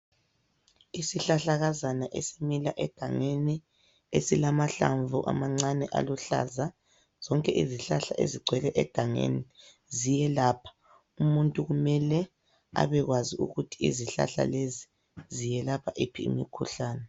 Isihlahlakazana esimila egangeni esilahlamvu amancane aluhlaza, zonke izihlahla ezigcwele egangeni ziyelapha. Umuntu kumele abekwazi ukuthi izihlahla lezi ziyelapha iphi imikhuhlane.